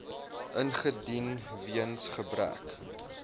ingedien weens gebrek